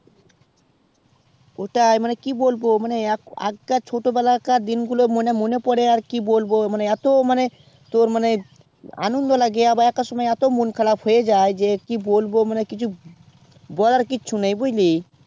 ওটাই মানে কি বলবো দেখ আগকার ছোট বেলাকার মনে পরে আর কি বলবো মানে এত্ত তোর আনন্দ লাগে একার সময় এত্ত মন খারাপ হয়ে যাই কি বলবো কিছু বলার কিছু নেই বুঝলি